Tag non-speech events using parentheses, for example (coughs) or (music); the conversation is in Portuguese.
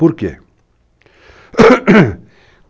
Por quê? (coughs)